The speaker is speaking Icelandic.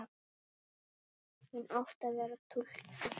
Hún átti að vera túlkur.